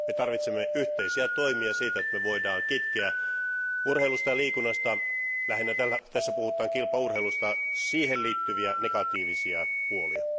Me tarvitsemme yhteisiä toimia, jotta me voimme kitkeä urheilusta ja liikunnasta, lähinnä tässä puhutaan kilpaurheilusta, siihen liittyviä negatiivisia puolia.